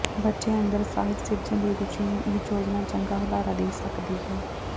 ਬੱਚਿਆਂ ਅੰਦਰ ਸਾਹਿਤ ਸਿਰਜਣ ਦੀ ਰੁਚੀ ਨੂੰ ਇਹ ਯੋਜਨਾ ਚੰਗਾ ਹੁਲਾਰਾ ਦੇ ਸਕਦੀ ਹੈ